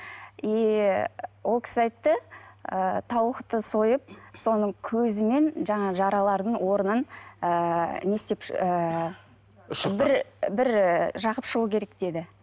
и ы ол кісі айтты ы тауықты сойып соның көзімен жаңағы жаралардың орнын ыыы не істеп ыыы бір бір і жағып шығу керек деді